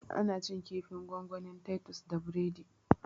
Ana cin kifin gongonin titus da biredi